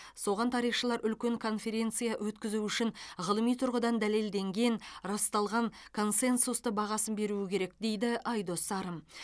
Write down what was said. соған тарихшылар үлкен конференция өткізу үшін ғылыми тұрғыдан дәлелденген расталған консенсусты бағасын беруі керек дейді айдос сарым